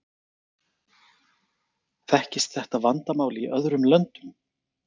Þekkist þetta vandamál í öðrum löndum?